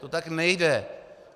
To tak nejde!